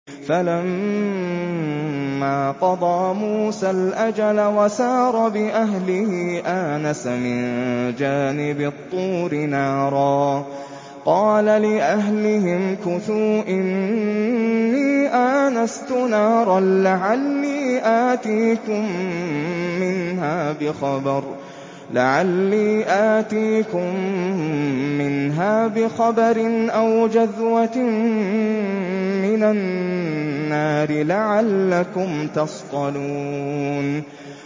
۞ فَلَمَّا قَضَىٰ مُوسَى الْأَجَلَ وَسَارَ بِأَهْلِهِ آنَسَ مِن جَانِبِ الطُّورِ نَارًا قَالَ لِأَهْلِهِ امْكُثُوا إِنِّي آنَسْتُ نَارًا لَّعَلِّي آتِيكُم مِّنْهَا بِخَبَرٍ أَوْ جَذْوَةٍ مِّنَ النَّارِ لَعَلَّكُمْ تَصْطَلُونَ